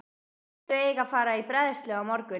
Þau eiga að fara í bræðslu á morgun.